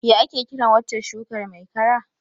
What is that stem crop called?